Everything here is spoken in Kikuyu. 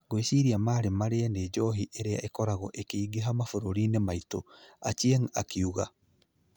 "Ngwĩciria maarĩ marĩe ni njohi iria ikoragwo ikĩingĩha mabũrũri-inĩ maitũ, " Ochieng ' akiuga.